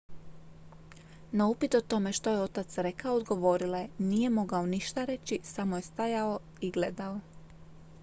"na upit o tome što je otac rekao odgovorila je: "nije mogao ništa reći. samo je stajao i gledao"".